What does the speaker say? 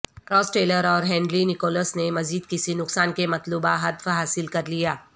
راس Taylor اور Henry Nicholls نے مزید کسی نقصان کے مطلوبہ ہدف حاصل کر لیا